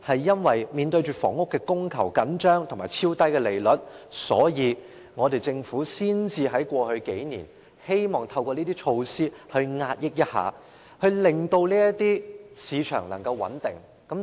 由於房屋供求緊張及超低利率，政府才會在過去數年希望透過這些措施遏抑樓市，令樓市能夠穩定。